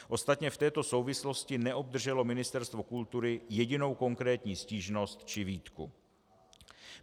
Ostatně v této souvislosti neobdrželo Ministerstvo kultury jedinou konkrétní stížnost či výtku.